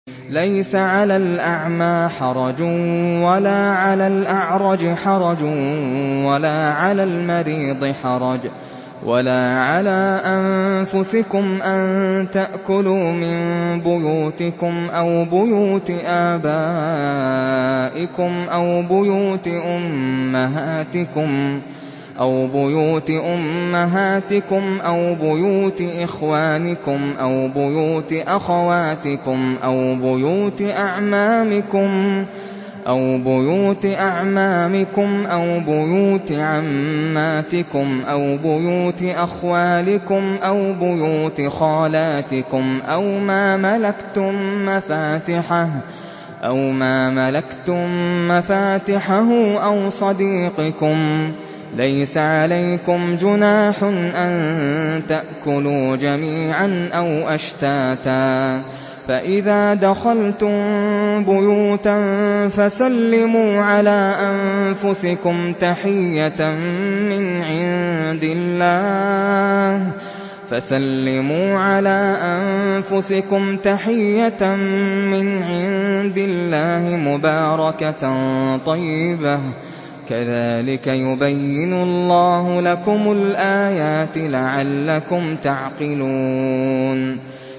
لَّيْسَ عَلَى الْأَعْمَىٰ حَرَجٌ وَلَا عَلَى الْأَعْرَجِ حَرَجٌ وَلَا عَلَى الْمَرِيضِ حَرَجٌ وَلَا عَلَىٰ أَنفُسِكُمْ أَن تَأْكُلُوا مِن بُيُوتِكُمْ أَوْ بُيُوتِ آبَائِكُمْ أَوْ بُيُوتِ أُمَّهَاتِكُمْ أَوْ بُيُوتِ إِخْوَانِكُمْ أَوْ بُيُوتِ أَخَوَاتِكُمْ أَوْ بُيُوتِ أَعْمَامِكُمْ أَوْ بُيُوتِ عَمَّاتِكُمْ أَوْ بُيُوتِ أَخْوَالِكُمْ أَوْ بُيُوتِ خَالَاتِكُمْ أَوْ مَا مَلَكْتُم مَّفَاتِحَهُ أَوْ صَدِيقِكُمْ ۚ لَيْسَ عَلَيْكُمْ جُنَاحٌ أَن تَأْكُلُوا جَمِيعًا أَوْ أَشْتَاتًا ۚ فَإِذَا دَخَلْتُم بُيُوتًا فَسَلِّمُوا عَلَىٰ أَنفُسِكُمْ تَحِيَّةً مِّنْ عِندِ اللَّهِ مُبَارَكَةً طَيِّبَةً ۚ كَذَٰلِكَ يُبَيِّنُ اللَّهُ لَكُمُ الْآيَاتِ لَعَلَّكُمْ تَعْقِلُونَ